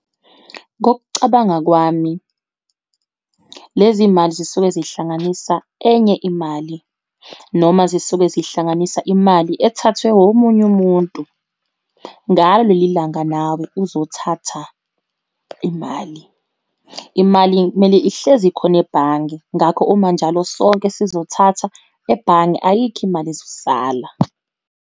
Ngokucabanga kwami lezi mali zisuke zihlanganisa enye imali, noma zisuke zihlanganisa imali ethathwe womunye umuntu, ngalo lelilanga nawe uzothatha imali. Imali kumele ihlezi ikhona ebhange, ngakho uma njalo sonke sizothatha, ebhange ayikho imali ezosala.